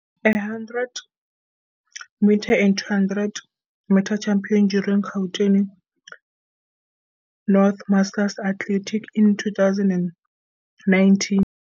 A 100m and 200m champion during Gauten North Masters Athletics in, 2019,